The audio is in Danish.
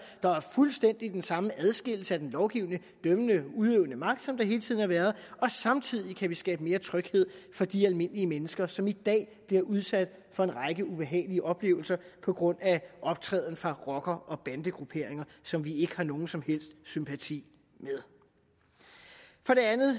der er fuldstændig den samme adskillelse af den lovgivende dømmende og udøvende magt som der hele tiden har været og samtidig kan vi skabe mere tryghed for de almindelige mennesker som i dag bliver udsat for en række ubehagelige oplevelser på grund af optræden fra rocker og bandegrupperinger som vi ikke har nogen som helst sympati med for det andet